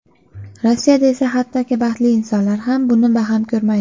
Rossiyada esa hattoki baxtli insonlar ham buni baham ko‘rmaydi.